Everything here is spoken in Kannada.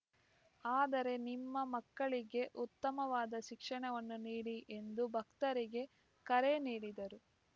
ಆದರೆ ನಿಮ್ಮ ಮಕ್ಕಳಿಗೆ ಉತ್ತಮವಾದ ಶಿಕ್ಷಣವನ್ನು ನೀಡಿ ಎಂದು ಭಕ್ತರಿಗೆ ಕರೆ ನೀಡಿದರು